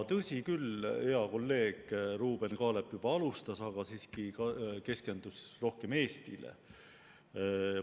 Tõsi küll, hea kolleeg Ruuben Kaalep alustas, aga ta siiski keskendus rohkem Eestile.